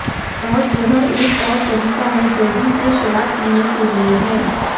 और यह एक और तरीका है जल्दी से शराब पीने के लिए है